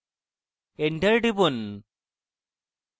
enter টিপুন